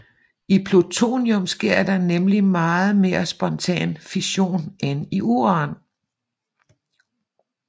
I plutonium sker der nemlig meget mere spontan fission end i uran